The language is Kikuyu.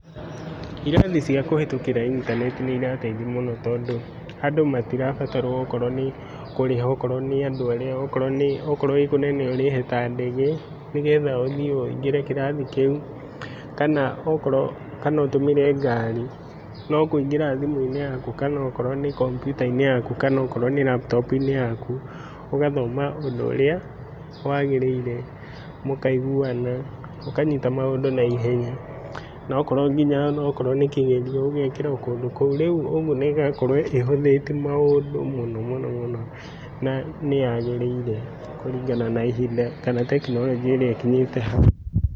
Irathi cia kũhĩtũkĩra intaneti cia kũhĩtũkĩra intanenti nĩirateithia mũno tondũ andũ matirabatarwo okorwo nĩ okorwo nĩ kũrĩha, okorwo nĩandũ arĩa okorwo nĩ okorwo wĩ kũnene ũrĩhe ta ndege nĩgetha ũthiĩ wĩingĩre kĩrathi kĩu kana okorwo, kana ũtũmĩre ngari. No kũingĩra thimũinĩ yaku kana okorwo nĩ kompyuta-inĩ yaku kana okorwo nĩ raptopu-inĩ yaku ũgathoma ũndũ ũrĩa wagĩrĩire mũkaiguana mũkanyita maũndũ na ihenya nokorwo nginya nĩ kĩgerio ũgekĩra kũndũ kũu rĩu ĩgakorwo ĩhũthĩtie maũndũ mũno mũnomũno na yagĩrĩire kũringana na ihinda kana tekinoronjĩ ĩrĩa ĩkinyĩte hau.